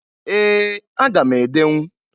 Ee! Aga m edenwu.